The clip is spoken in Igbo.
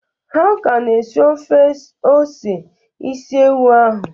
Ha ka na-esi ofe ose isi ewu ahụ.